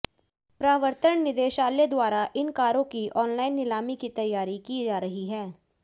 प्रवर्तन निदेशालय द्वारा इन कारों की ऑनलाइन नीलामी की तैयारी की जा रही है